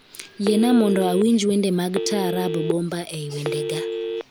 Yiena mondo awinj wende mag taarab Bomba ei wendega